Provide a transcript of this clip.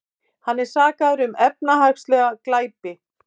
Hann er sakaður um efnahagslega glæpi